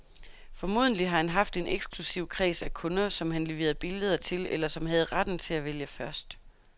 Formodentlig har han haft en eksklusiv kreds af kunder, som han leverede billeder til eller som havde retten til at vælge først.